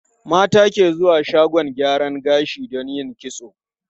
Mata ke zuwa shagon gyaran gashi don yin kitso.